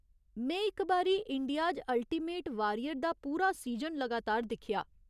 में इक बारी इंडियाज अल्टीमेट वारियर दा पूरा सीजन लगातार दिक्खेआ।